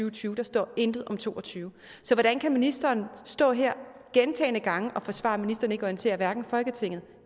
og tyve der står intet om to og tyve så hvordan kan ministeren stå her gentagne gange og forsvare at ministeren ikke orienterer hverken folketinget